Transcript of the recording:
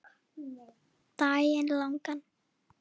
Daginn langan.